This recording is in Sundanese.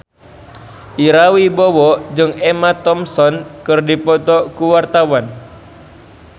Ira Wibowo jeung Emma Thompson keur dipoto ku wartawan